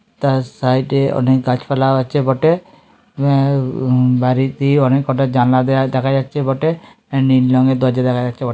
তার সাইড -এ অনেক গাছপালা আছে বটে আ- উম- বাড়িটির অনেকটা জানলা দেখা যাচ্ছে বটে নীল রঙের দরজা দেখা যাচ্ছে বটে।